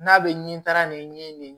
N'a bɛ ni taara nin